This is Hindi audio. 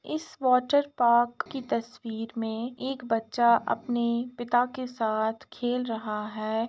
इस वाटरपार्क की तस्वीर में एक बच्चा अपने पिता के साथ खेल रहा है।